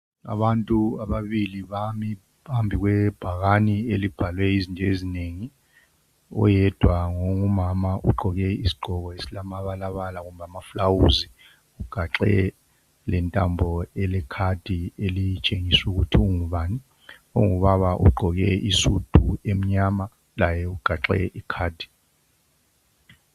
Abantu ababili bami phambi kwebhakane elibhalwe izinto ezinengi oyedwa ngumama ogqoke isigqoko esilamabala bala kumbe amaluba ugaxe lentambo ele card elitshengisa ukuthi ungubani ongubaba ugqoke isudu emnyama laye ugaxe Icard.